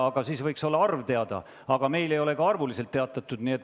Aga siis võiks arvu teada anda, kuid meile ei ole ka arvuliselt teatatud.